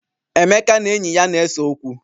Emeka na enyi ya na-ese okwu.